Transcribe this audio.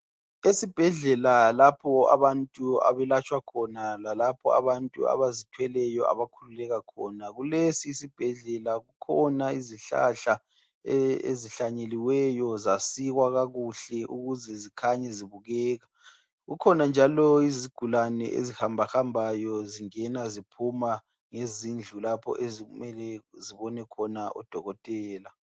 esibhedlela lapho abantu abelatshwa khona lalapho abantu abazithweleyo abakhululeka khona kulesi isibhedlela kukhona izihlahla ezihlanyeliweyo zasikwa kakuhle ukuze zikhanye zibukeka kukhona njalo izigulane ezihambahambayo zingena ziphuma lezindlu lapho okumele zibone khona odokotela